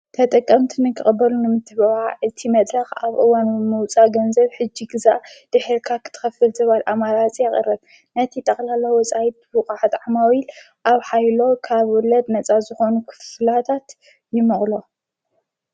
ተጠቀምቲ ንክቕበሉ ንምትበብዓ እቲ መድረኽ ኣብ እዋኑ ምውፃ ገንዘብ ሕጂ ግዛእ ድሒርካ ኽትኸፍል ዝብል ኣማራጺ የቕርብ። ነቲ ጠቕላላ ዘሎ ወፃኢ ብቓሕት ዓማዊኢል ኣብ ኃይሎ ካብ ወለድ ነፃ ዝኾኑ ክፍላታት ይመቕሎም።